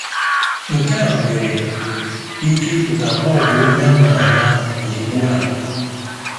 Nke a nwere ike ịpụta na ọ bụ onye a ma ama n'ìgwè a.